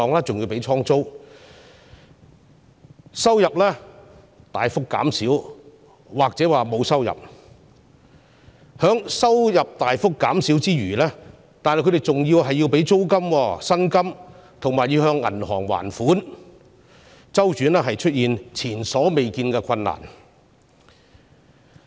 中小企收入大幅減少——甚或沒有收入——之餘，還要支付租金、薪金及清還銀行貸款，因此，它們的周轉出現前所未見的困難。